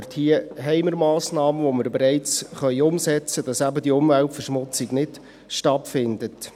Hier haben wir Massnahmen, die wir bereits umsetzen können, damit eben diese Umweltverschmutzung nicht stattfindet.